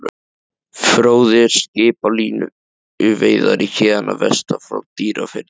Fróði er skip, línuveiðari héðan að vestan, frá Dýrafirði.